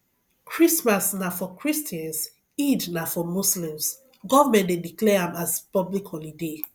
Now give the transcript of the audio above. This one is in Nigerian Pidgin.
christmas na for christians eid na for muslisms government de declare am as public holiday